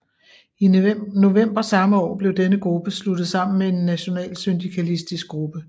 I november samme år blev denne gruppe sluttet sammen med en nationalsyndikalistisk gruppe